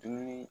Dumuni